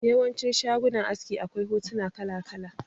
Yawancin shagunan aski akwai hotuna kala kala